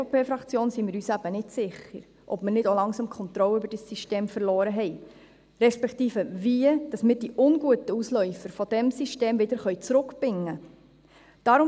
Als EVP-Fraktion sind wir uns eben nicht sicher, ob wir nicht auch langsam die Kontrolle über dieses System verloren haben, respektive wie wir die unguten Ausläufer dieses Systems wieder zurückbinden können.